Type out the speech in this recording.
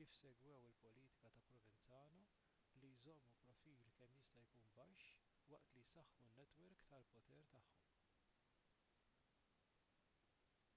kif segwew il-politika ta' provenzano li jżommu profil kemm jista' jkun baxx waqt li jsaħħu n-netwerk tal-poter tagħhom